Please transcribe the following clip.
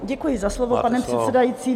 Děkuji za slovo, pane předsedající.